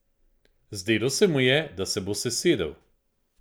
Zdelo se mu je, da se bo sesedel.